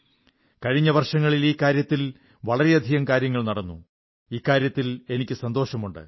കഴിഞ്ഞ വർഷങ്ങളിൽ ഈ കാര്യത്തിൽ വളരെയധികം കാര്യങ്ങൾ നടന്നു എന്നതിൽ എനിക്ക് സന്തോഷമുണ്ട്